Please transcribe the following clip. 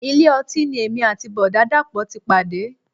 Ilé ọtí ni èmi àti Bọ̀dá dàpọ̀ ti pàdé.